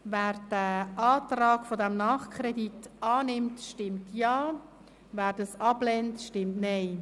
Wer den Antrag für einen Nachkredit annimmt, stimmt Ja, wer diesen ablehnt, stimmt Nein.